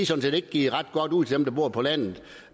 set ikke givet ret godt ud til dem der bor på landet